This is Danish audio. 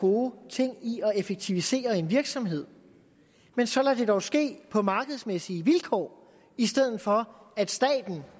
gode ting i at effektivisere en virksomhed men så lad det dog ske på markedsmæssige vilkår i stedet for at staten